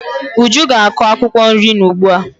Uju ga-akọ akwụkwọ nri n'ugbo ya.